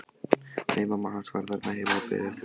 Nei, mamma hans var þarna heima og beið eftir honum.